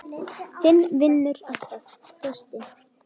Þinn vinnur alltaf, Frosti.